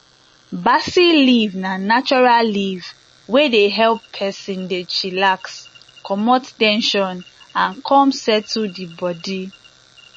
basil leaf na natural leaf wey dey help person dey chillax comot ten sion and come settle the body